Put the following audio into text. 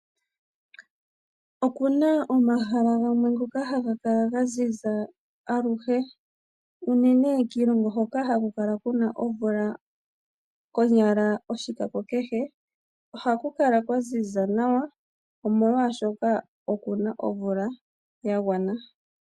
Okuna omahala gamwe ngoka haga kala gaziza aluhe ,unene kiilongo hoka haku kala kuna omvula konyala oshikako kehe , ohaku kala kwaziza nawa omolwaashoka okuna omvula yagwana.